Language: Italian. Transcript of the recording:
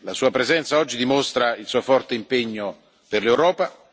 La Sua presenza oggi dimostra il Suo forte impegno per l'Europa.